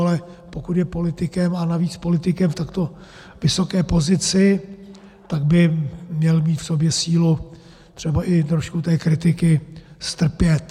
Ale pokud je politikem, a navíc politikem v takto vysoké pozici, tak by měl mít v sobě sílu třeba i trošku té kritiky strpět.